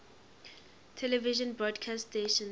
television broadcast stations